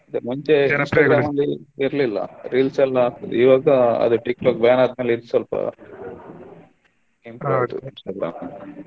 ಅದೆ ಮುಂಚೆ ಇರಲಿಲ್ಲಾ reels ಎಲ್ಲಾ ಇವಾಗಾ ಅದ TikTok ban ಆದ್ಮೇಲೆ ಇದು ಸ್ವಲ್ಪ improve ಆಯ್ತು ಸ್ವಲ್ಪ.